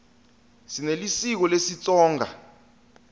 sinelisiko lesitsonga